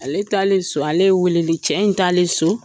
Ale taale so ale ye weleli, cɛ in taale so